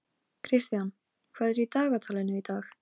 Kristian, hvað er í dagatalinu í dag?